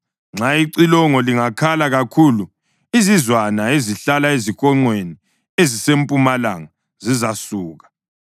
Nxa icilongo lingakhala kakhulu, izizwana ezihlala ezihonqweni ezisempumalanga zizasuka.